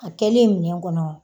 A kɛlen ɲɛ kɔnɔ